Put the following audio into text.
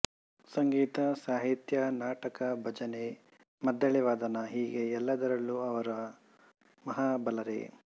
ಸಂಗೀತ ಸಾಹಿತ್ಯ ನಾಟಕ ಭಜನೆ ಮದ್ದಳೆವಾದನ ಹೀಗೆ ಎಲ್ಲದರಲ್ಲೂ ಅವರು ಮಹಾಬಲರೆ